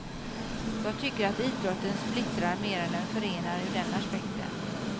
Jag tycker att idrotten splittrar mer än den förenar ur den aspekten.